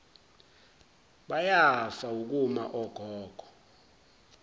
bayafa wukuma ogogo